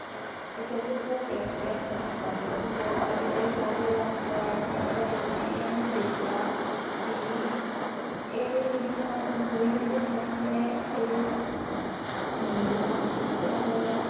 ਕਿੱਥੇ ਭੁੱਖੇ ਪਿਆਸੇ ਭਟਕਾਂਗੇ ਤੇ ਕਿਧਰੇ ਹੋਟਲੇ ਜਾਕੇ ਬੈਠ ਗਿਆ ਭਾਈ ਉਹਨੇ ਐ ਨੀ ਦੇਖਿਆ ਵੀ ਇਹ ਕਿਨੀ ਜਿਆਦਾ ਮਜਬੂਰੀ ਵਿੱਚ ਹੈਗੀ ਐ ਇਹਦੇ ਮੁੰਡੇ ਦਾ ਹੱਥ ਟੁੱਟਿਆ ਹੋਇਆ ਐ